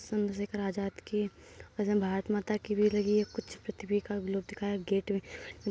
चंद्र शेखार आजाद की भारत माता की भी लगी पृथ्वी का ग्लोव दिखाया गेट --